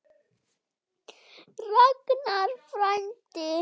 Ragnar frændi.